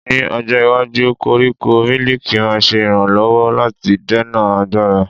Ní ọjọ́ iwájú, koríko mílìkì máa ṣe ìrànlọ́wọ́ láti dènà àgbàrá.